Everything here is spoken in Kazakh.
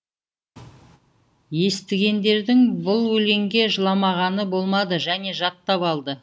естігендердің бұл өлеңге жыламағаны болмады және жаттап алды